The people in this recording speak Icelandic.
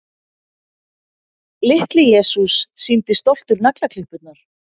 Litli-Jesús sýndi stoltur naglaklippurnar.